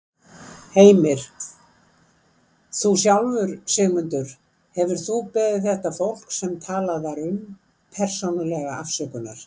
Heimir: Þú sjálfur, Sigmundur, hefurðu þú beðið þetta fólk, sem talað var um, persónulega afsökunar?